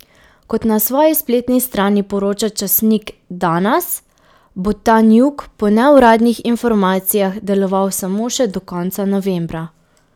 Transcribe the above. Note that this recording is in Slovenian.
Kot na svoji spletni strani poroča časnik Danas, bo Tanjug po neuradnih informacijah deloval samo še do konca novembra.